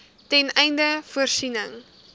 ten einde voorsiening